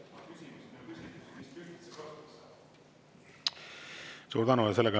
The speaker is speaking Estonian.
Suur tänu!